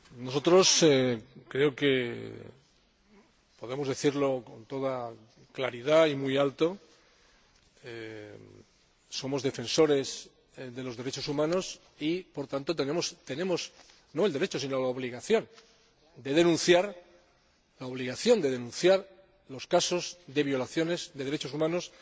Nosotros —creo que podemos decirlo con toda claridad y muy alto— somos defensores de los derechos humanos y, por tanto, tenemos, no el derecho, sino la obligación de denunciar los casos de violaciones de derechos humanos